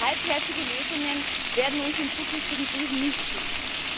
Halbherzige Lösungen werden uns in zukünftigen Krisen nicht schützen.